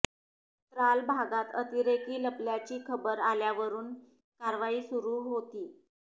त्राल भागात अतिरेकी लपल्याची खबर आल्यावरून कारवाई सुरू होती